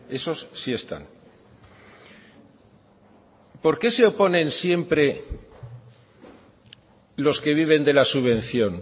esos sí están por qué se oponen siempre los que viven de la subvención